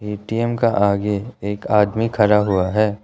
ATM का आगे एक आदमी खड़ा हुआ है।